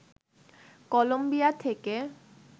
Colombia থেকে